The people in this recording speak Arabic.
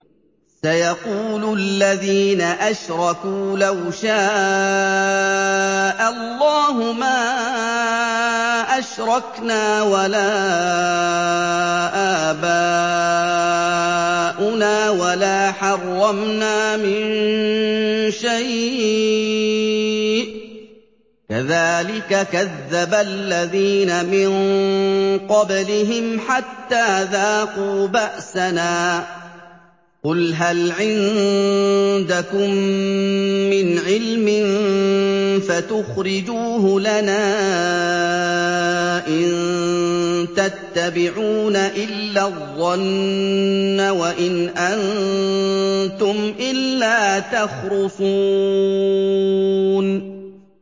سَيَقُولُ الَّذِينَ أَشْرَكُوا لَوْ شَاءَ اللَّهُ مَا أَشْرَكْنَا وَلَا آبَاؤُنَا وَلَا حَرَّمْنَا مِن شَيْءٍ ۚ كَذَٰلِكَ كَذَّبَ الَّذِينَ مِن قَبْلِهِمْ حَتَّىٰ ذَاقُوا بَأْسَنَا ۗ قُلْ هَلْ عِندَكُم مِّنْ عِلْمٍ فَتُخْرِجُوهُ لَنَا ۖ إِن تَتَّبِعُونَ إِلَّا الظَّنَّ وَإِنْ أَنتُمْ إِلَّا تَخْرُصُونَ